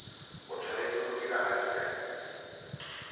o tshwanetse go dira afidafiti